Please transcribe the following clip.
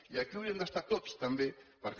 i aquí haurien d’estar tots també perquè